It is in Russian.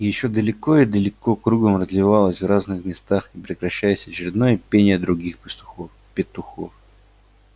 и ещё далеко и далеко кругом разливалось в разных местах не прекращаясь очередное пение других пастухов петухов